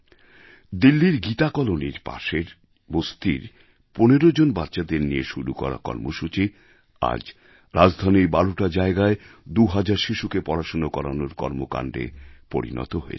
দিল্লির গীতা কলোনীর পাশের বস্তির ১৫ জন বাচ্চাদের নিয়ে শুরু করা কর্মসূচি আজ রাজধানীর ১২টা জায়গায় দুহাজার শিশুকে পড়াশোনা করানোর কর্মকাণ্ডে পরিণত হয়েছে